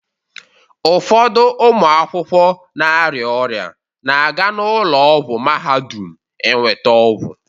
Ụfọdụ ụmụ akwụkwọ na-arịa ọrịa na-aga n'ụlọ ọgwụ Mahadum eweta ọgwụ.